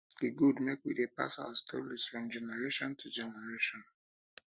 e good make we dey pass our stories from generation to generation